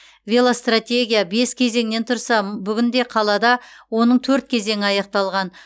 велостратегия бес кезеңнен тұрса м бүгінде қалада оның төрт кезеңі аяқталған